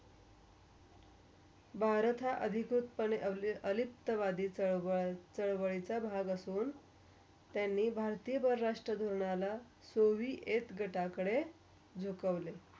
भरता अधिरूतपणे अलित वाधी स्वयचा भाग असून. त्यांनी भरतीया दवर राष्ट्रीया ध्वनाला सोविेत गटाकरे झुकोवले.